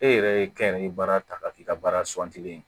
E yɛrɛ ye kɛnyɛrɛye baara ta ka k'i ka baara